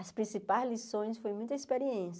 As principais lições foram muitas experiências.